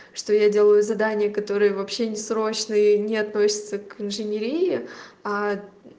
что я делаю задания которые вообще не срочные и не относятся к инженерии а